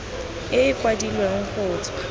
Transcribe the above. e e kwadilweng go tswa